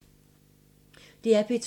DR P2